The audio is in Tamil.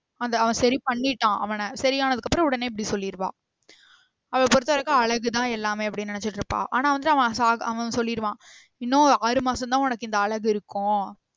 அந்த அவன் சரி பண்ணிட்டான் அவன சரி ஆனதுக்கு அப்றோம் உடனே இப்டி சொல்லிருவா அவல பொறுத்த வரைக்கும் அழகு தான் எல்லாமே அப்டின்னு நினச்சிட்டு இருப்பா அனா வந்து அவன் சொல்லிடுவான் இன்னும் ஆறு மாசம் தான் உனக்கு இந்த அழகு இருக்கும்